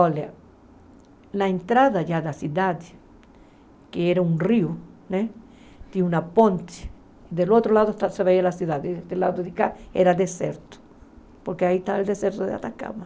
Olha, na entrada da cidade, que era um rio né, tinha uma ponte, do outro lado você vê a cidade, do lado de cá era deserto, porque aí está o deserto de Atacama.